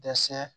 Dɛsɛ